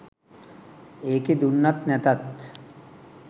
ඒකේ දුන්නත් නැතත්